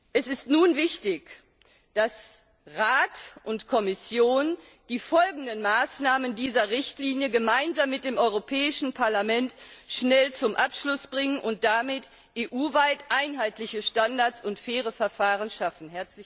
Es ist nun wichtig, dass Rat und Kommission die Folgemaßnahmen dieser Richtlinie gemeinsam mit dem Europäischen Parlament schnell zum Abschluss bringen und damit EU weit einheitliche Standards und faire Verfahren schaffen.